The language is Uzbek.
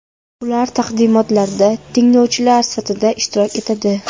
Ular taqdimotlarda tinglovchilar sifatida ishtirok etadi.